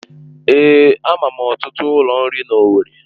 Èé, ama m ọtụtụ ụlọ nri n'Owerri